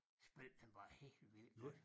Spillede han bare helt vildt godt